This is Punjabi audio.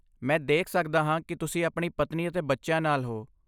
ਮੈਂ ਦੇਖ ਸਕਦਾ ਹਾਂ ਕਿ ਤੁਸੀਂ ਆਪਣੀ ਪਤਨੀ ਅਤੇ ਬੱਚਿਆਂ ਨਾਲ ਹੋ।